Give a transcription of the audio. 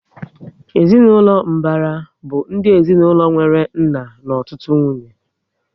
Ezinaụlọ mbara bụ ụdị ezinaụlọ nwéré nna na ọtụtụ nwunye